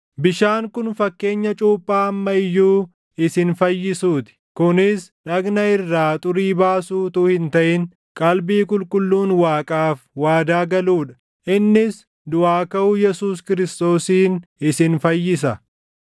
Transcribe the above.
bishaan kun fakkeenya cuuphaa amma iyyuu isin fayyisuu ti; kunis dhagna irraa xurii baasuu utuu hin taʼin qalbii qulqulluun Waaqaaf waadaa galuu dha. Innis duʼaa kaʼuu Yesuus Kiristoosiin isin fayyisa;